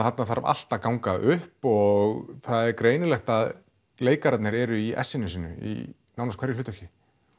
þarna þarf allt að ganga upp og það er greinilegt að leikararnir eru í essinu sínu í nánast hverju hlutverki